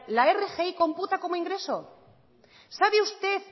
la rgi computa como ingreso sabe usted